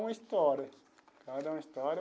Uma história cada história.